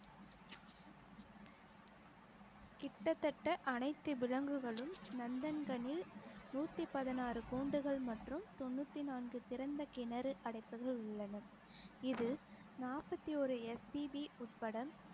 கிட்டத்தட்ட அனைத்து விலங்குகளும் நந்தன்கனில் நூத்தி பதினாறு கூண்டுகள் மற்றும் தொண்ணூத்தி நான்கு திறந்த கிணறு அடைப்புகள் உள்ளன இது நாற்பத்தி ஒரு SPB உட்பட